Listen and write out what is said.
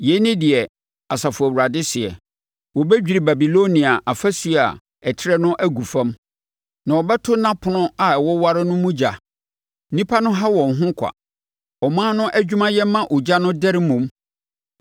Yei ne deɛ Asafo Awurade seɛ: “Wɔbɛdwiri Babilonia afasuo a ɛtrɛ no agu fam na wɔbɛto nʼapono a ɛwoware no mu ogya; nnipa no ha wɔn ho kwa, ɔman no adwumayɛ ma ogya no dɛre mmom.”